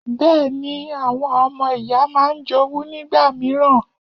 Bẹ́ẹ̀ ni, àwọn ọmọ ìyá máa ń jowú nígbà mìíràn.